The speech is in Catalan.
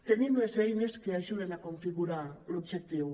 tenim les eines que ajuden a configurar l’objectiu